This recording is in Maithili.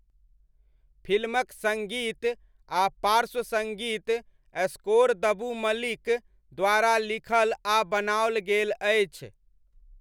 फिल्मक सङ्गीत आ पार्श्व सङ्गीत स्कोर दबू मलिक द्वारा लिखल आ बनाओल गेल अछि।